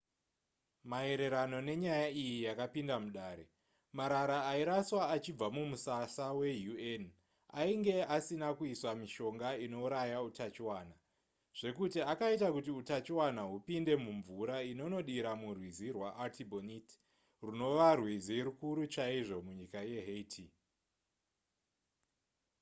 maererano nenyaya iyi yakapinda mudare marara airaswa achibva mumusasa weun ainge asina kuiswa mishonga inouraya utachiona zvekuti akaita kuti utachiona hupinde mumvura inonodira murwizi rwaartibonite runova rwizi rukuru chaizvo munyika yehaiti